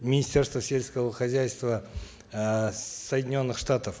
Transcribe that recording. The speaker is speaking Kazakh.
министерства сельского хозяйства э соединенных штатов